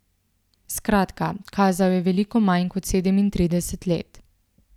Skratka, kazal je veliko manj kot sedemintrideset let.